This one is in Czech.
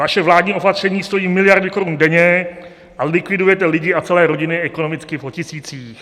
Vaše vládní opatření stojí miliardy korun denně a likvidujete lidi a celé rodiny ekonomicky po tisících.